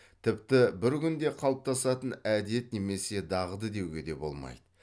тіпті бір күнде қалыптасатын әдет немесе дағды деуге де болмайды